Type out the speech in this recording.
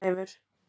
Gunnleifur